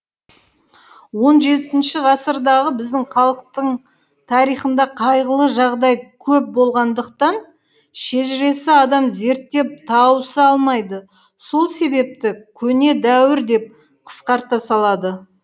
он жетінші ғасырдағы біздің халықтың тарихында қайғылы жағдай көп болғандықтан шежіреші адам зерттеп тауыса алмайды сол себепті көне дәуір деп қысқарта салады